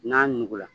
N'a nugula